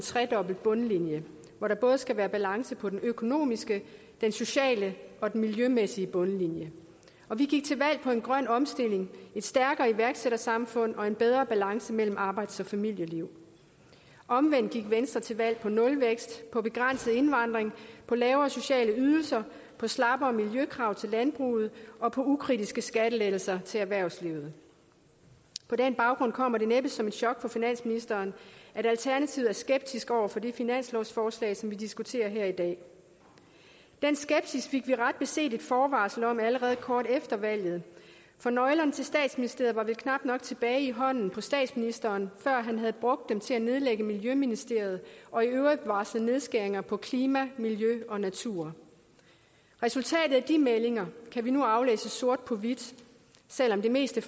tredobbelt bundlinje hvor der både skal være balance på den økonomiske den sociale og den miljømæssige bundlinje vi gik til valg på en grøn omstilling et stærkere iværksættersamfund og en bedre balance mellem arbejds og familieliv omvendt gik venstre til valg på nulvækst på begrænset indvandring på lavere sociale ydelser på slappere miljøkrav til landbruget og på ukritiske skattelettelser til erhvervslivet på den baggrund kommer det næppe som et chok for finansministeren at alternativet er skeptisk over for det finanslovsforslag som vi diskuterer her i dag den skepsis fik vi ret beset et forvarsel om allerede kort efter valget for nøglerne til statsministeriet var vel knap nok tilbage i hånden på statsministeren før han havde brugt dem til at nedlægge miljøministeriet og i øvrigt varsle nedskæringer på klima miljø og natur resultatet af de meldinger kan vi nu aflæse sort på hvidt selv om det meste